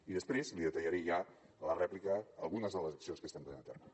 i després li detallaré ja a la rèplica algunes de les accions que estem duent a terme